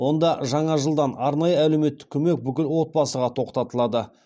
онда жаңа жылдан арнайы әлеуметті көмек бүкіл отбасыға тоқтатылады